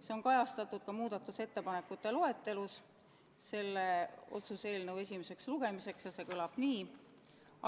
See on kajastatud ka muudatusettepanekute loetelus, mis selle otsuse eelnõu esimeseks lugemiseks tehti, ja see kõlab nii: